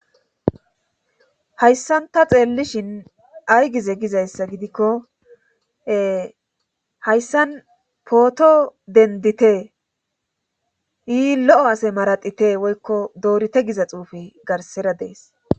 Hayssanta xeellishin ay gize gizayssa gidikko hayssan pooto dendite ii lo'o ase maradite woykko doorite giza xuufi garsera dees.